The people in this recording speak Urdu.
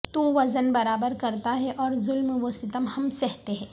تو وزن برابر کرتا ہے اور ظلم و ستم ہم سہتے ہیں